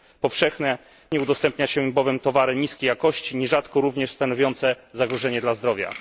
Powszechnie udostępnia się bowiem towary niskiej jakości, nierzadko również stanowiące zagrożenie dla zdrowia.